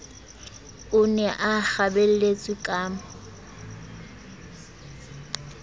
o ne a kgabelletswe ka